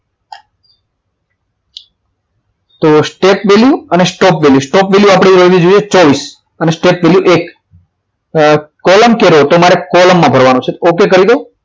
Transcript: step value અને stop value આપણી રહેવી જોઈએ ચોવીસ અને step value એક કોલમ કેરેટ એ તમારે કોલમમાં ભરવાનો છે okay કરી દો